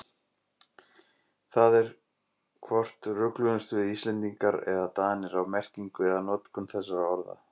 Það er hvort rugluðumst við Íslendingar eða Danir á merkingu eða notkun þessara orða.